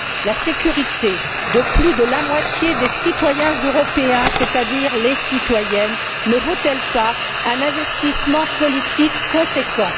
La sécurité de plus de la moitié des citoyens européens, c'est à dire les citoyennes, ne vaut elle pas un investissement politique conséquent?